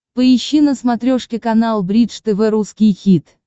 поищи на смотрешке канал бридж тв русский хит